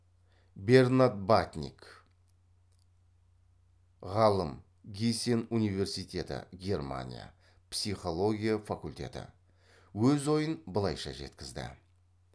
бернад батник ғалым гисен университеті германия психология факултеті өз ойын былайша жеткізді